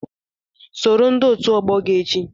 Soro ndị otu ọgbọ gị echi!